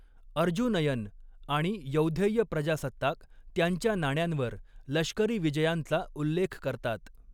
अर्जुनयन आणि यौधेय प्रजासत्ताक त्यांच्या नाण्यांवर लष्करी विजयांचा उल्लेख करतात.